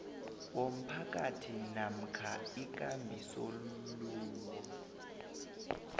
womphakathi namkha ikambisolwulo